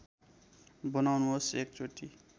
बनाउनुहोस् एक चोटी